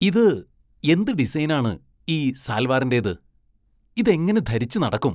ഇത് എന്ത് ഡിസൈനാണ് ഈ സാല്‍വാറിന്റേത്, ഇതെങ്ങനെ ധരിച്ച് നടക്കും?